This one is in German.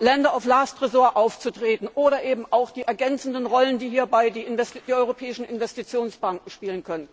Lender of last resort aufzutreten, oder eben auch von den ergänzenden Rollen, die hierbei die europäischen Investitionsbanken spielen können.